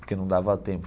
Porque não dava tempo.